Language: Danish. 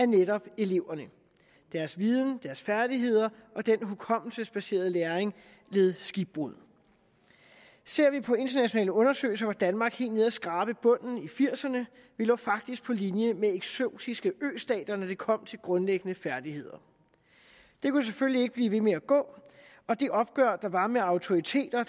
netop eleverne deres viden deres færdigheder og den hukommelsesbaserede læring led skibbrud ser vi på internationale undersøgelser var danmark helt nede at skrabe bunden i nitten firserne vi lå faktisk på linje med eksotiske østater når det kom til grundlæggende færdigheder det kunne selvfølgelig ikke blive ved med at gå og det opgør der var med autoriteter